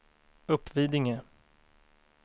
Uppvidinge